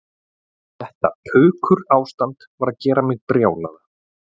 Þetta pukurástand var að gera mig brjálaða